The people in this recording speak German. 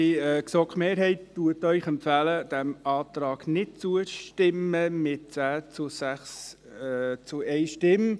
Die GSoK-Mehrheit empfiehlt Ihnen mit 10 Ja- gegen 6 Nein-Stimmen bei 1 Enthaltung, diesem Antrag nicht zuzustimmen.